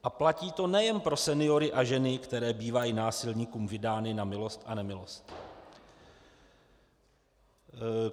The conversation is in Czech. A platí to nejen pro seniory a ženy, které bývají násilníkům vydány na milost a nemilost.